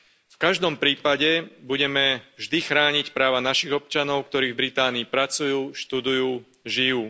V každom prípade budeme vždy chrániť práva našich občanov, ktorí v Británii pracujú, študujú, žijú.